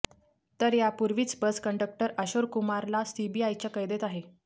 तर यापूर्वीच bus conductor अशोर कुमारला सीबीआयच्या कैदेत आहे